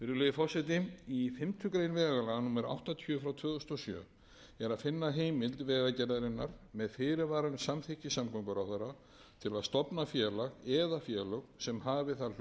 forseti í fimmtu grein vegalaga númer áttatíu tvö þúsund og sjö er að finna heimild vegagerðarinnar með fyrirvara um samþykki samgönguráðherra til að stofna félag eða félög